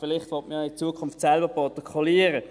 Vielleicht will man ja in Zukunft selber protokollieren.